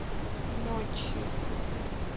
ночью